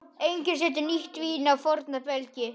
Enginn setur nýtt vín á forna belgi.